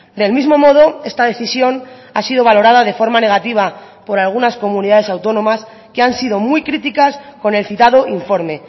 del mismo modo esta decisión ha sido valorada de forma negativa por algunas comunidades autónomas que han sido muy críticas con el citado informe